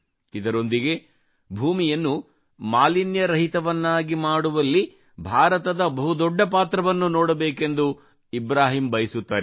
ಇದರೊಂದಿಗೆ ಭೂಮಿಯನ್ನು ಮಾಲಿನ್ಯ ರಹಿತವನ್ನಾಗಿ ಮಾಡುವಲ್ಲಿ ಭಾರತದ ಬಹುದೊಡ್ಡಪಾತ್ರವನ್ನು ನೋಡಬೇಕೆಂದು ಇಬ್ರಾಹಿಂ ಬಯಸುತ್ತಾರೆ